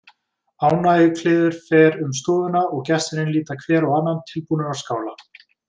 Ánægjukliður fer um stofuna og gestirnir líta hver á annan, tilbúnir að skála.